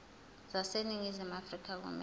zaseningizimu afrika kumele